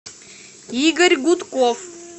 игорь гудков